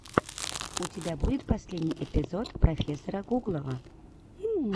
у тебя будет последний эпизод профессора гуглова